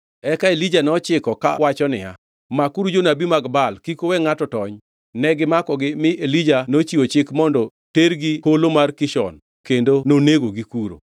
Eka Elija nochikogi kawacho niya, “Makuru jonabi mag Baal. Kik uwe ngʼato tony!” Ne gimakogi mi Elija nochiwo chik mondo tergi Holo mar Kishon kendo nonegogi kuro.